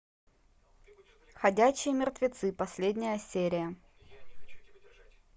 ходячие мертвецы последняя серия